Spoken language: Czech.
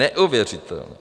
Neuvěřitelné!